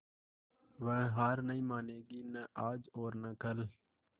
वह हार नहीं मानेगी न आज और न कल